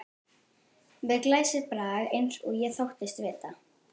Með glæsibrag eins og ég þóttist vita.